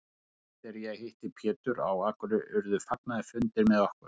Seinast þegar ég hitti Pétur á Akureyri urðu fagnaðarfundir með okkur.